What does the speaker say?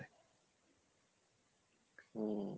হম